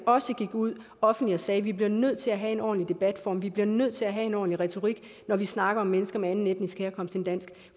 også gik ud offentligt og sagde vi bliver nødt til at have en ordentlig debatform vi bliver nødt til at have en ordentlig retorik når vi snakker om mennesker med anden etnisk herkomst end dansk